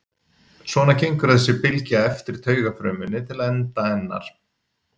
svona gengur þessi bylgja eftir taugafrumunni til enda hennar